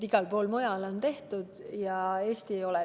Igal pool mujal on võetud, aga Eestis ei ole.